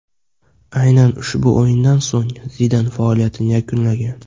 Aynan ushbu o‘yindan so‘ng Zidan faoliyatini yakunlagan.